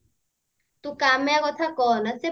ତୁ କାମ୍ୟା କଥା କହନା ସେ